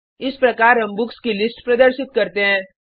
इस प्रकार हम बुक्स की लिस्ट प्रदर्शित करते हैं